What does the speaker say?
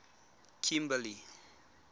kimberley